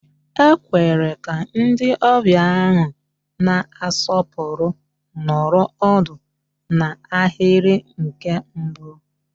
E kwere ka ndị ọbịa ahụ na-asọpụrụ nọrọ ọdụ n'ahịrị nke mbụ